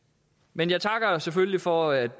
men jeg takker selvfølgelig for at